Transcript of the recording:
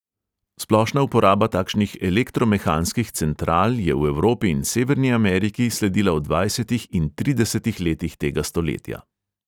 Splošna uporaba takšnih elektromehanskih central je v evropi in severni ameriki sledila v dvajsetih in tridesetih letih tega stoletja.